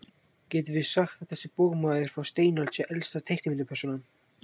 Getum við sagt að þessi bogmaður frá steinöld sé elsta teiknimyndapersónan?